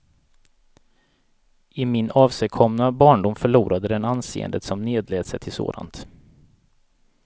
I min avsigkomna barndom förlorade den anseendet som nedlät sig till sådant.